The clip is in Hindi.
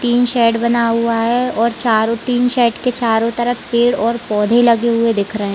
टिन शेड बना हुआ है। और चारो टिन शेड के चारो तरफ पेड़ और पौधे लगे हुए दिख रहे--